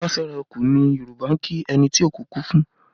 Ẹ kú ará feraku ni Yoruba ń kí ẹni tí òkú kú fún